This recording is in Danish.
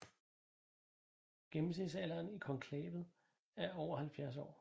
Gennemsnitsalderen i konklavet er over 70 år